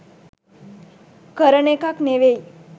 කරන එකක් නෙවෙයි..